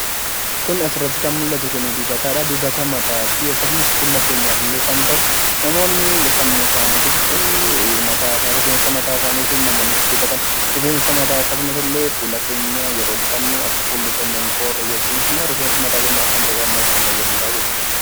Suuraa kanaa gadii irratti kan argamu dibata mataati. Kunis guddinaa fi fayyina rifeensaa kan fayyaduu dha.